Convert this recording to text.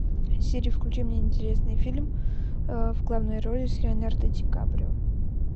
сири включи мне интересный фильм в главной роли с леонардо ди каприо